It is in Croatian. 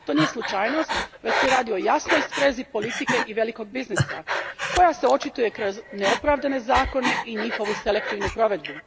To nije slučajnost, već se radi o jasnoj sprezi politike i velikog biznisa koja se očituje kroz neopravdane zakone i njihovu selektivnu provedbu.